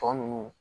Tɔ ninnu